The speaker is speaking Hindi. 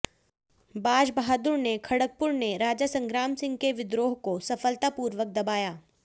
बाज बहादुर ने खडगपुर ने राजा संग्रामसिंह के विद्रोह को सफलतापूर्वक दबाया